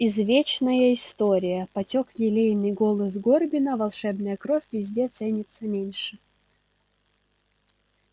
извечная история потёк елейный голос горбина волшебная кровь везде ценится меньше